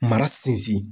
Mara sinsin